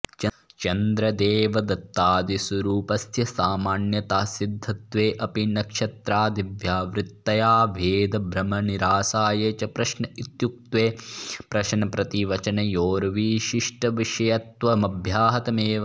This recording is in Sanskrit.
चन्द्रदेवदत्तादिस्वरुपस्य सामान्यतः सिध्दत्वेऽपि नक्षत्रादिव्या वृत्ततया भेदभ्रमनिरासाय च प्रश्न इत्युक्ते प्रश्नप्रतिवचनयोर्विशिष्टविषयत्वमव्याहतमेव